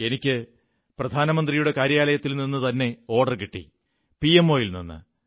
എനിക്ക് പ്രധാനമന്ത്രിയുടെ കാര്യാലയത്തിൽ നിന്നുതന്നെ ഓർഡർ കിട്ടി പിഎംഒ യിൽ നിന്ന്